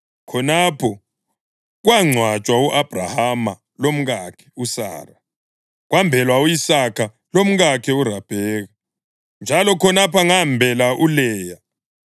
Khonapho kwangcwatshwa u-Abhrahama lomkakhe uSara, kwembelwa u-Isaka lomkakhe uRabheka, njalo khonapho ngambela uLeya.